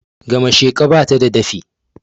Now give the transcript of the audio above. Gamasheka bata da dafi